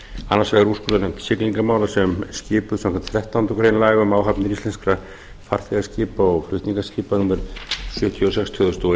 annars vegar úrskurðarnefnd siglingamála sem skipuð er samkvæmt þrettándu grein laga um áhafnir íslenskra farþegaskipa og flutningaskipa númer sjötíu og sex tvö þúsund og